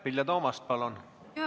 Vilja Toomast, palun!